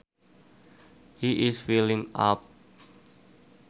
He is feeling up